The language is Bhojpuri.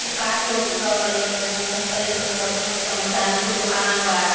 उ कार्टून वाटून रखल बाटे मतलब उ करंट वररेंट रखल बाटे मैखना में कोई दुकान बा।